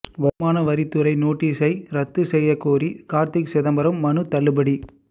வருமான வரித்துறை நோட்டீஸை ரத்து செய்யக்கோரி கார்த்தி சிதம்பரம் மனு தள்ளுபடி